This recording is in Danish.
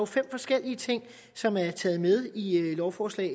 fem forskellige ting som er taget med i lovforslag